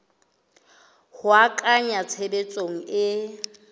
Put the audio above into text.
ho a kenya tshebetsong e